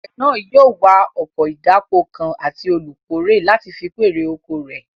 Àgbẹ̀ náà yóò wá ọkọ̀ ìdáko kan àti olùkórè láti fi kún èrè oko rẹ̀